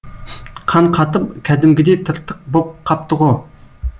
қан қатып кәдімгідей тыртық боп қапты ғо